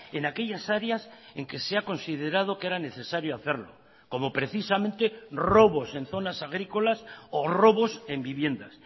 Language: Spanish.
en aquellas áreas en que se ha considerado que era necesario hacerlo como precisamente robos en zonas agrícolas o robos en viviendas